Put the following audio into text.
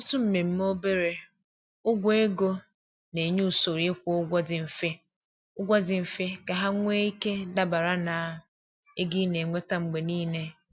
Ọtụtụ mmemme obere ụgwọ ego na-enye usoro ịkwụ ụgwọ dị mfe ụgwọ dị mfe ka ha nwee ike dabara na ego ị na-enweta mgbe niile.